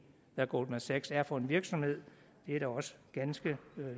hvad goldman sachs er for en virksomhed det er da også ganske